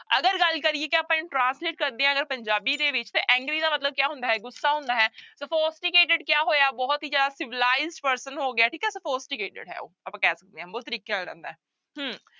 ਅਗਰ ਗੱਲ ਕਰੀਏ ਕਿ ਆਪਾਂ ਇਹਨੂੰ translate ਕਰਦੇ ਹਾਂ ਅਗਰ ਪੰਜਾਬੀ ਦੇ ਵਿੱਚ ਤਾਂ angry ਦਾ ਮਤਲਬ ਕਿਆ ਹੁੰਦਾ ਹੈ ਗੁੱਸਾ ਹੁੰਦਾ ਹੈ sophisticated ਕਿਆ ਹੋਇਆ ਬਹੁਤ ਹੀ ਜ਼ਿਆਦਾ civilized person ਹੋ ਗਿਆ ਠੀਕ ਹੈ sophisticated ਹੈ ਉਹ ਆਪਾਂ ਕਹਿ ਸਕਦੇ ਹਾਂ ਹੈ ਹਮ